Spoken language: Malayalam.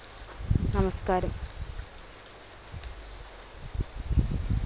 നമസ്‍കാരം.